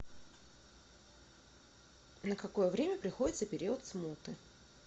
на какое время приходится период смуты